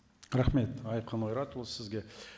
рахмет айқын ойратұлы сізге